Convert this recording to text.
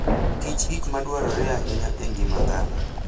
Kich gik ma dwarore ahinya e ngima dhano.